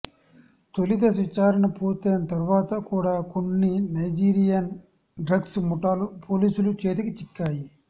తొలి దశ విచారణ పూర్తయిన తర్వాత కూడా కొన్ని నైజీరియన్ డ్రగ్స్ ముఠాలు పోలీసుల చేతికి చిక్కాయి